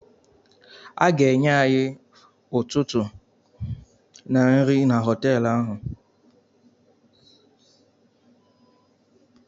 A ga-enye any nri ụtụtụ na họtelụ ahụ.